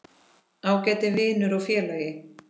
Ágæti vinur og félagi.